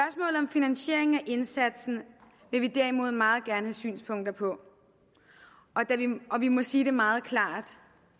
finansieringen af indsatsen vil vi derimod meget gerne synspunkter på og vi må sige det meget klart